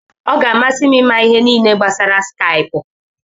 Ọ ga-amasị m ịma ihe niile gbasara Skaipụ.